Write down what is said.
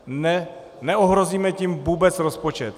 Neohrozíme tím vůbec rozpočet.